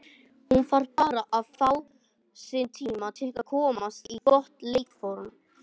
Hún þarf bara að fá sinn tíma til að komast í gott leikform.